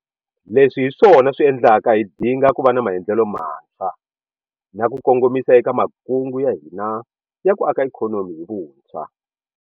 Leswi hi swona swi endlaka hi dinga ku va na maendlelo mantshwa na ku kongomisa eka makungu ya hina ya ku aka ikhonomi hi vuntshwa.